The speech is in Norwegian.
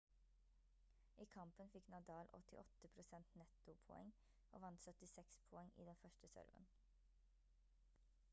i kampen fikk nadal åttiåtte prosent nettopoeng og vant 76 poeng i den første serven